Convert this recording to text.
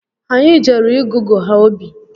Anyị jere ịgụgụ ha obi